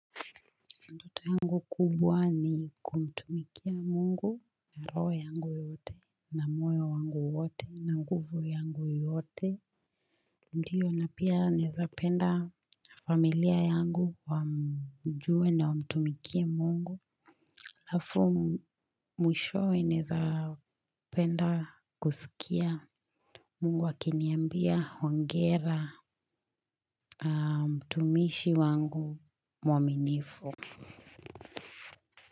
Ndoto yangu kubwa ni kumtumikia mungu, na roho yangu yote, na moyo wangu wote, na nguvu yangu yote. Ndiyo na pia naeza penda familia yangu wamjue na wamtumikea mungu. Halafu mwishowe naeza penda kusikia. Mungu akiniambia hongera mtumishi wangu mwaminifu.